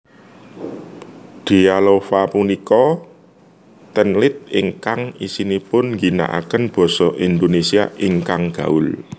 Dealova punika teenlit ingkang isinipun ngginakaken Basa Indonesia ingkang gaul